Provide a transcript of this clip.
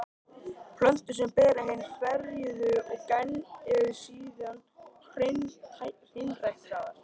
Plöntur sem bera hin ferjuðu gen eru síðan hreinræktaðar.